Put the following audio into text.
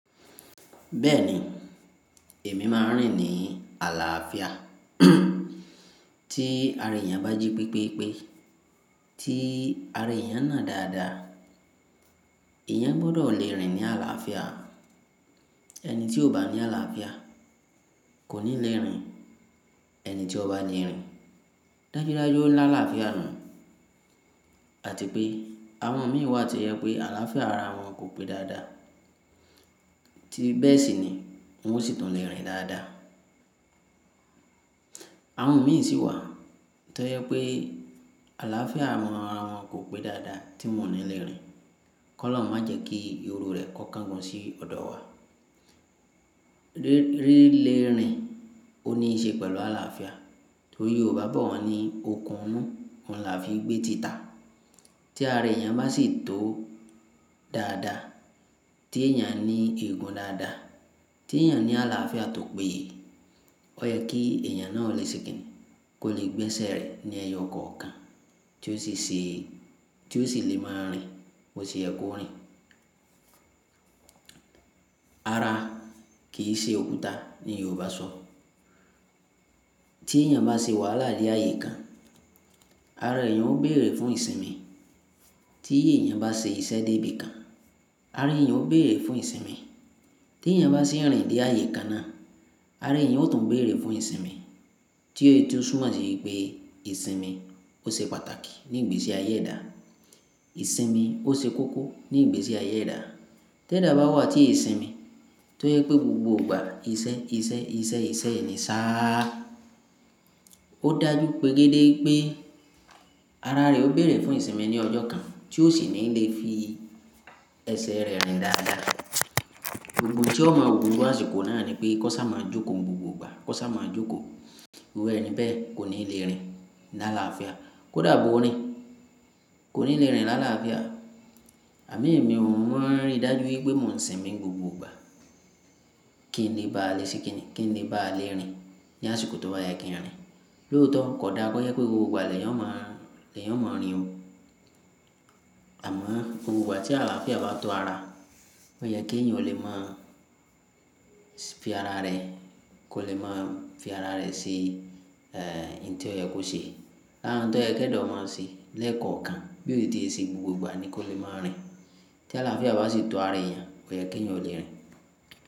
Bẹ́ẹ̀ni, èmi máa ń rìn ní àlàáfíà. Tí ara èèyàn bá jí pípépe, tí ara èèyàn náà dára dára, èèyàn gbọdọ̀ le rìn ní àlàáfíà. Ẹni tí kò bá ní àlàáfíà kò ní le rìn. Ẹni tí ọba le rìn, dájúdájú ó lá àlàáfíà nù àti pé àwọn mìíràn wà tí ẹ pé àlàáfíà ara wọn kò pé dáadáa. Tí bẹ́ẹ̀ sì ni, wọn sì tún le rìn dáadáa. Àwọn mìí sì wà tí ó yẹ pé àlàáfíà wọn ara wọn kò pé dáadáa tí wọ́n ò ní le rìn. Kọ́ lọ́hun má jẹ́ kí iru rẹ̀ kó kan gun sí ọ̀dọ̀ wa. Rí, rí, le rìn ó ní í ṣe pẹ̀lú àlàáfíà. Torí Yorùbá bọ̀ wọ́n ní, "Okun inù, òun là fi gbé tìtà." Tí ara èèyàn bá sì tó dára dára, tí èèyàn ní igun dáadáa, tí èèyàn ní àlàáfíà tòó pe yeé, ó yẹ kí èèyàn náà ó le ṣe kinní, kó le gbé ẹsẹ̀ rẹ̀ ní ẹyọ kọ̀ọ̀kan tí ó sì ṣè, tí ó sì le máa rìn bó ti yẹ kó rìn. Ara kì í ṣe òkúta ní Yorùbá sọ. Tí èèyàn bá ṣe wàhálà ní ààyè kan, ara èèyàn ó béèrè fún ìsinmi. Tí èèyàn bá ṣe ìṣẹ̀dábí kan, ara èèyàn ó béèrè fún ìsinmi. Tí èèyàn bá sì ń rìn dé ààyè kan náà, ara èèyàn ó tún béèrè fún ìsinmi. Tí ó, tí ó túmọ́ si wi pé ìsinmi ó ṣe pàtàkì ní ìgbésí ayé ẹ̀dá. Ìsinmi ó ṣe kókó ní ìgbésí ayé ẹ̀dá. Ti eda bá wà tí ìsinmi tó yẹ pé gbogbo ìgbà iṣẹ́, iṣẹ́, iṣẹ́, iṣẹ́ yiu ni sá. Ó dájú pé gẹ́gẹ́ pé ara rẹ̀ ó béèrè fún ìsinmi ní ọjọ́ kan tí ó sì ní lè fi ẹsẹ̀ rẹ̀ rìn dáadáa. Òògùn tí ó máa wọ́ ni àsìkò náà ni pé, "Kọ́ sá máa jókòó gbogbo ìgbà. Kọ́ sá máa jókòó." iru ẹni bẹ́ẹ̀ kò ní le rìn ní àlàáfíà. Kó dàá bó ó rìn, kò ní le rìn ní àlàáfíà. Àmín, èmi ò mọ àrin dájú wípé mò ń sinmi gbogbo ìgbà. Kí ni bá à le ṣe kìnní? Kín le bá à le rìn ní àsìkò tó wà yẹ kí a rìn? Lóòótọ́, kò dàá kó yẹ pé gbogbo ìgbà lẹ̀ eyan o máa, lẹ̀ yóò máa rìn. Àmọ́ gbogbo ìgbà tí àlàáfíà bá tó ara, ó yẹ kí ẹ̀yàn ó lè máa fi ara rẹ̀, kó lè máa fi ara rẹ̀ sí, e, ohuní tí ó yẹ kó ṣe. Lárá oun tó yẹ kí eda ó máa ṣe lẹ́ẹ̀kọ̀ọ̀kan bí òtítí e se gbogbo ìgbà ni kó lè máa rìn. Tí àlàáfíà bá sì tó ara èèyàn, ó yẹ kí ẹ̀yàn ó le rìn.